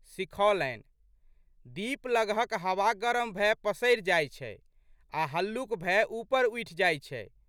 सिखौलनि, दीप लगहक हवा गरम भए पसरि जाइत छै आ हल्लुक भए उपर उठि जाइत छै।